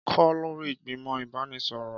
Kọ lori igbimọ ibanisọrọ